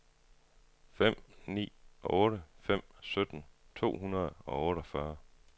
fem ni otte fem sytten to hundrede og otteogfyrre